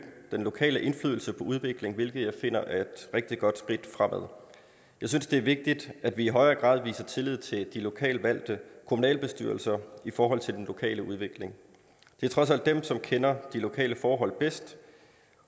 den lokale indflydelse på udviklingen hvilket jeg finder er et rigtig godt skridt fremad jeg synes det er vigtigt at vi i højere grad viser tillid til de lokalt valgte kommunalbestyrelser i forhold til den lokale udvikling det er trods alt dem som kender de lokale forhold bedst